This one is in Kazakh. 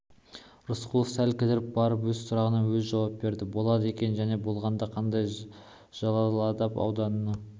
рысқұлов сәл кідіріп барып өз сұрағына өзі жауап берді болады екен және болғанда қандай жалалабад ауданында